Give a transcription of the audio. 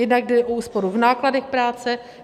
Jednak jde o úsporu v nákladech práce.